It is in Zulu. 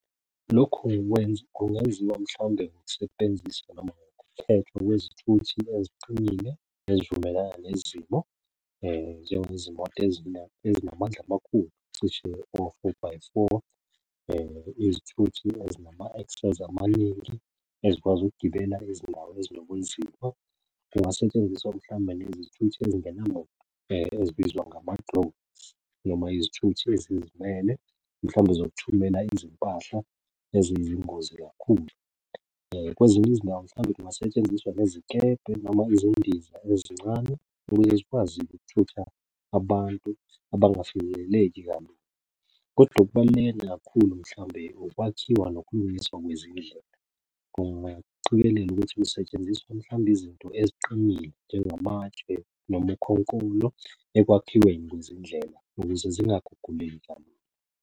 Lokhu kwenza kungenziwa mhlawunbe ngokusebenzisa kwezithuthi eziqinile ezivumelana nezimo njengezimoto ezinamandla amakhulu, cishe o-four by four. Izithuthi ezinama access amaningi, ezikwazi ukugibela ezindaweni ezinobunzima. Kungasentshenziswa mhlawumbe nezithuthi ezibizwa noma izithuthi ezizimele, mhlawumbe zokuthumela izimpahla ezizingozi kakhulu. Kwezinye izindawo mhlawumbe kungasetshenziswa nezikebhe noma izindiza ezincane ukuze zikwazi ukuthutha abantu abangafinyeleleki kalula, kodwa okubaluleke kakhulu mhlawumbe ukwakhiwa nokulungiswa kwezindlela. Kungaqikelela ukuthi kusetshenziswa mhlawumbe izinto eziqinile njengamatshe noma ukhonkolo ekwakhiweni kwezindlela ukuze zingaguguleki kalula.